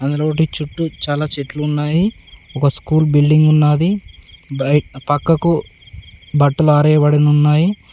చుట్టూ చాలా చెట్లు ఉన్నాయి ఒక స్కూల్ బిల్డింగ్ ఉన్నది. పక్కకు బట్టలు ఆరేయబడి ఉన్నాయి.